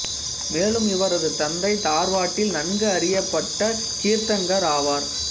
மேலும் இவரது தந்தை தார்வாட்டில் நன்கு அறியப்பட்ட கீர்த்தங்கர் ஆவார்